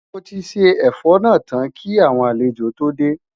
Moti ṣé ẹfọ nà tán kí àwọn àlejò tó dé